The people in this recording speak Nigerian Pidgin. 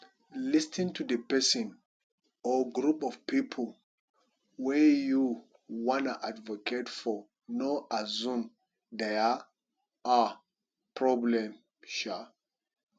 lis ten to di person or group of pipo wey you wan advocate for no assume their um problem um